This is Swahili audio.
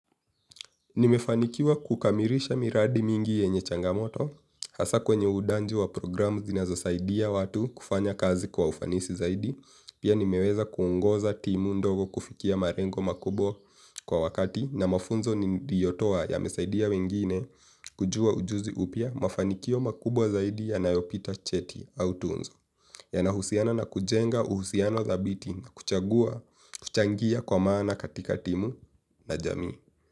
Nimefanikiwa kukamilisha miradi mingi yenye changamoto, hasa kwenye udanji wa programu zinazo saidia watu kufanya kazi kwa ufanisi zaidi, pia nimeweza kungoza timu ndogo kufikia malengo makubwa kwa wakati na mafunzo niliotoa yamesaidia wengine kujua ujuzi upya mafanikio makubwa zaidi ya nayopita cheti au tunzo, yana husiana na kujenga uhusiano dhabiti na kuchagua kuchangia kwa maana katika timu na jamii.